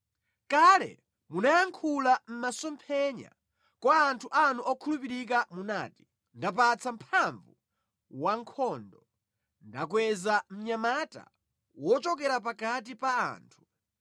Kale munayankhula mʼmasomphenya, kwa anthu anu okhulupirika munati, “Ndapatsa mphamvu wankhondo; ndakweza mnyamata wochokera pakati pa anthu.